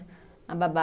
A babá